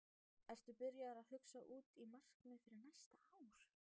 Ertu byrjaður að hugsa út í markmið fyrir næsta ár?